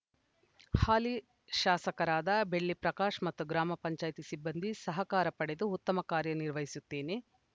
ಹಾಲಿ ಶಾಸಕರಾದ ಬೆಳ್ಳಿ ಪ್ರಕಾಶ್‌ ಮತ್ತು ಗ್ರಾಮ ಪಂಚಾಯತಿ ಸಿಬ್ಬಂದಿ ಸಹಕಾರ ಪಡೆದು ಉತ್ತಮ ಕಾರ್ಯ ನಿರ್ವಹಿಸುತ್ತೇನೆ